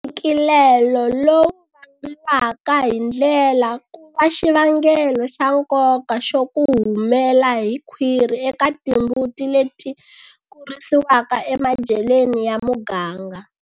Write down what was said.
Ntshikilelo lowu vangiwaka hi ndlela ku va xivangelo xa nkoka xo ku humela hi khwiri eka timbuti leti kurisiwaka emadyelweni ya muganga.